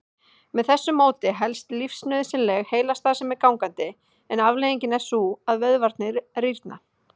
Með þessu móti helst lífsnauðsynleg heilastarfsemi gangandi en afleiðingin er sú að vöðvarnir rýrna.